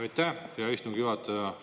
Aitäh, hea istungi juhataja!